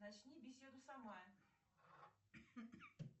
начни беседу сама